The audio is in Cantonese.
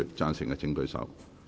贊成的請舉手。